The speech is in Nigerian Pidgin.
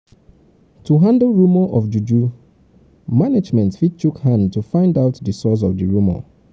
um to handle rumour of juju management fit chook hand to find out di source of di rumour